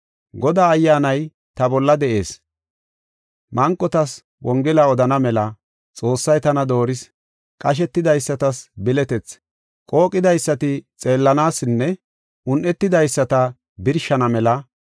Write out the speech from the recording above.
“Godaa Ayyaanay ta bolla de7ees, manqotas Wongela odana mela Xoossay tana dooris. Qashetidaysatas biletethi, qooqidaysata xeelisanaasinne un7etidaysata birshana mela,